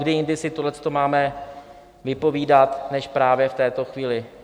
Kdy jindy si tohle máme vypovídat než právě v této chvíli.